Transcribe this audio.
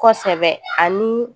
Kosɛbɛ ani